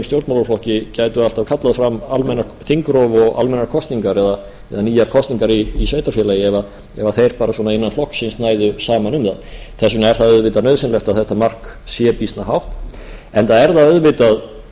stjórnmálaflokki gætu alltaf kallað fram þingrof og almennar kosningar eða nýjar kosningar í sveitarfélagi ef þeir bara svona innan flokksins næðu saman um það þess vegna er það auðvitað nauðsynlegt að þetta mark sé býsna hátt enda er það auðvitað